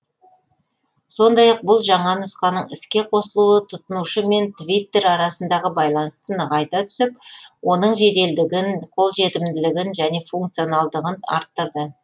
сондай ақ бұл жаңа нұсқаның іске қосылуы тұтынушы мен твиттер арасындағы байланысты нығайта түсіп оның жеделдігін қолжетімділігін және функционалдығын арттырды